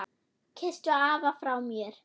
Kysstu afa frá mér.